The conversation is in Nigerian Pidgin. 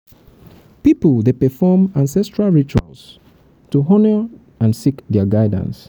pipo dey perform rituals to honor ancestral spirits and seek dia guidance.